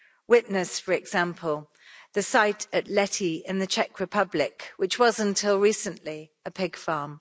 Witness, for example, the site at Lety in the Czech Republic, which was, until recently, a pig farm.